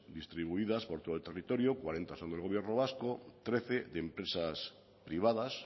distribuidas por todo el territorio cuarenta son del gobierno vasco trece de empresas privadas